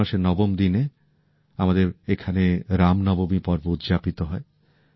চৈত্র মাসের নবম দিনে আমাদের এখানে রামনবমী পর্ব উদযাপিত হয়